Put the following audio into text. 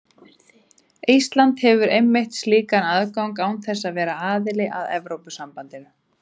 Ísland hefur einmitt slíkan aðgang án þess að vera aðili að Evrópusambandinu.